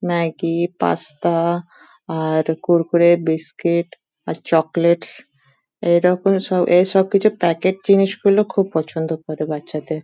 Maggi pasta আর কুড়কুড়ে biscuit আর চকলেটস এই রকম সব এই সব কিছু প্যাকেট জিনিস গুলো পছন্দ করে বাচ্চাদের ।